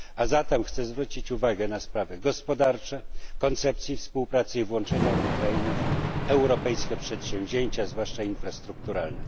A zatem chcę zwrócić uwagę na sprawy gospodarcze oraz koncepcję współpracy i włączenia Ukrainy w europejskie przedsięwzięcia, zwłaszcza infrastrukturalne.